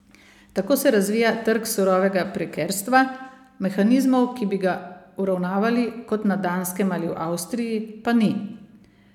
Tako se razvija trg surovega prekerstva, mehanizmov, ki bi ga uravnavali, kot na Danskem ali v Avstriji, pa ni.